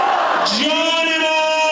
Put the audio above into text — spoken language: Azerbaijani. Canımız İran!